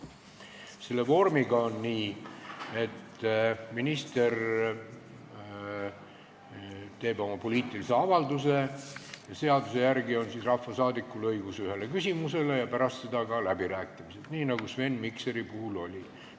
Selle vormiga on nii, et minister teeb oma poliitilise avalduse, seaduse järgi on rahvasaadikul õigus esitada üks küsimus ja pärast seda on ka läbirääkimised, nii nagu Sven Mikseri avalduse puhul oli.